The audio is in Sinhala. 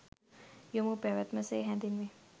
යොමුව පැවැත්ම සේ හැඳින්වේ.